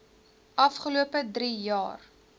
afgelope drie jaar